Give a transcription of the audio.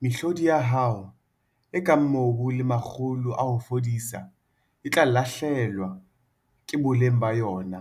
Mehlodi ya hao, e kang mobu le makgulo a ho fudisa, e tla lahlehelwa ke boleng ba yona,